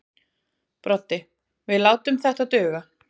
Broddi: Við látum þetta duga.